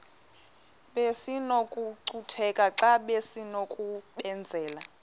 besinokucutheka xa besinokubenzela